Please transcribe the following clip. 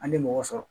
An tɛ mɔgɔ sɔrɔ